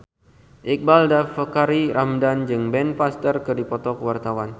Iqbaal Dhiafakhri Ramadhan jeung Ben Foster keur dipoto ku wartawan